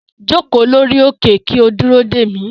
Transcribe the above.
Joko lori oke ki o duro de mi